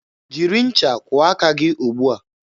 Jiri ncha kwụọ aka gị ugbua!